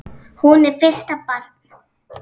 Hún er fyrsta barn.